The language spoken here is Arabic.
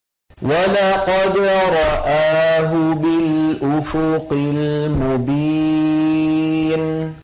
وَلَقَدْ رَآهُ بِالْأُفُقِ الْمُبِينِ